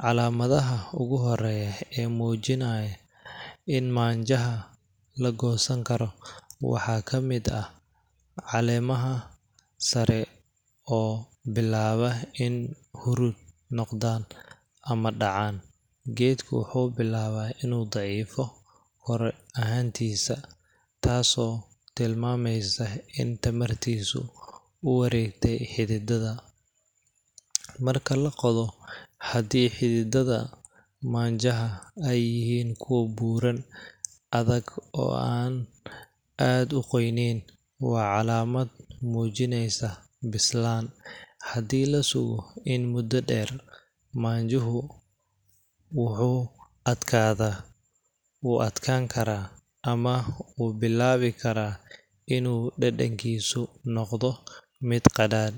calaamadaha ugu horeeya ee mujinaaya in maanjaha lagoosan karo waxaa kamid ah, caleemaha sare oo bilaaba in hurud noqdaan ama dacaan, geedka wuxuu bilaaba inuu daciifo korar ahaantiisa, taas oo tilmaameyso in tamartiisa uwareegte xididada, marka laqodo hadii xididada maanjaha aay yihiin kuwa buuran, adag oo aan aad uqoyaneen, waa calaamad muujineysa bislaan, hadii lasugo in mudo deer, maanjuhu wuxuu adkaada wuu adkaan karaa ama wuu bilaabi karaa inuu dadankiisa noqdo mid qaraar.